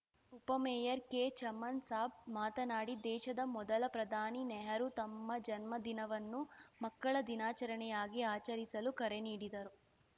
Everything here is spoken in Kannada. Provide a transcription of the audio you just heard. ಉಪ ಮೇಯರ್‌ ಕೆಚಮನ್‌ ಸಾಬ್‌ ಮಾತನಾಡಿ ದೇಶದ ಮೊದಲ ಪ್ರಧಾನಿ ನೆಹರೂ ತಮ್ಮ ಜನ್ಮ ದಿನವನ್ನು ಮಕ್ಕಳ ದಿನಾಚರಣೆಯಾಗಿ ಆಚರಿಸಲು ಕರೆ ನೀಡಿದರು